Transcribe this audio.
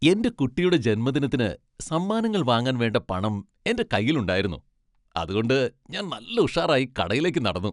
എന്റെ കുട്ടിയുടെ ജന്മദിനത്തിന് സമ്മാനങ്ങൾ വാങ്ങാൻ വേണ്ട പണം എന്റെ കയ്യിലുണ്ടായിരുന്നു, അതുകൊണ്ട് ഞാൻ നല്ല ഉഷാറായി കടയിലേക്ക് നടന്നു.